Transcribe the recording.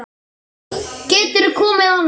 Geturðu komið annað kvöld?